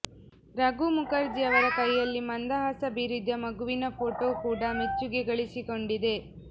ರಘು ಮುಖರ್ಜಿ ಅವರ ಕೈಯಲ್ಲಿ ಮಂದಹಾಸ ಬೀರಿದ ಮಗುವಿನ ಫೋಟೋ ಕೂಡ ಮೆಚ್ಚುಗೆ ಗಳಿಸಿಕೊಂಡಿದೆ